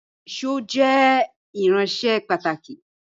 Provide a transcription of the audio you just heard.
Èṣó jẹ irinṣẹ́ pàtàkì